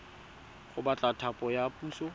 go batla thapo ya puso